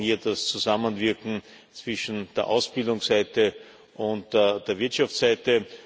Wir brauchen hier das Zusammenwirken zwischen der Ausbildungsseite und der Wirtschaftsseite.